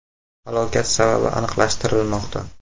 Halokat sababi aniqlashtirilmoqda.